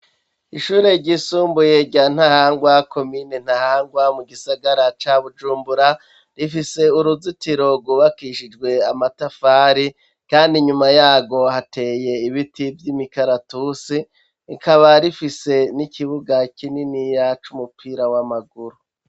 Ishure ryisumbuye rya Ntahangwa komine Ntahangwa mu gisagara ca Bujumbura, rifise uruzitiro rwubakishijwe amatafari kandi inyuma yarwo hateye ibiti vy'imikaratusi, rikaba rifise n'ikibuga kininiya c'umupira w'amaguru.